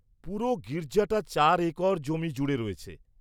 পুরো গির্জাটা চার একর জমি জুড়ে রয়েছে।